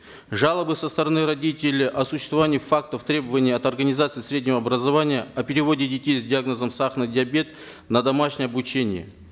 жалобы со стороны родителей о существовании фактов требования от организаций среднего образования о переводе детей с диагнозом сахарный диабет на домашнее обучение